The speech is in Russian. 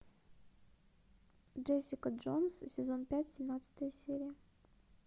джессика джонс сезон пять семнадцатая серия